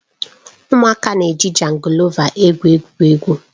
Ụmụaka na-eji jangọlova egwu egwuregwu